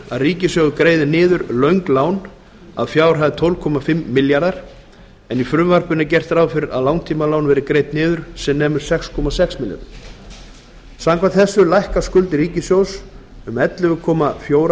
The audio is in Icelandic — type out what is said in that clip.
að ríkissjóður greiði niður löng lán að fjárhæð tólf þúsund fimm hundruð milljóna króna en í frumvarpinu er gert ráð fyrir að langtímalán verði greidd niður sem nemur sex þúsund sex hundruð milljóna króna samkvæmt þessu lækka skuldir ríkissjóðs um ellefu þúsund fjögur hundruð milljóna